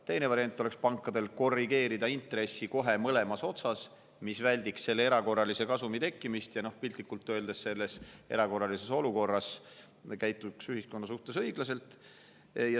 Teine variant oleks, et pangad korrigeeriksid intressi kohe mõlemas otsas, mis väldiks erakorralise kasumi tekkimist ja piltlikult öeldes selles erakorralises olukorras käitutaks ühiskonna suhtes õiglaselt.